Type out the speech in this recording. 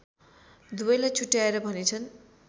दुवैलाई छुट्याएर भनेछन्